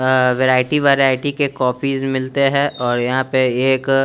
अ variety variety के कपीस मिलते हैं और यहाँ पे एक--